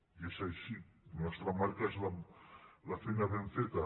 i és així la nostra marca és la feina ben feta